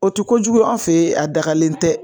O ti kojugu y'an fe yen, a dagalen tɛ